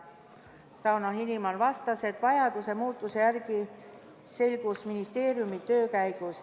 Tauno Hilimon vastas, et vajadus muudatuste järele selgus ministeeriumi töö käigus.